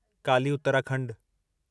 Kali Uttarakhand